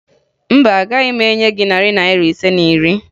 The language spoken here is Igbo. Mba, agaghị m enye gị narị Naira ise na iri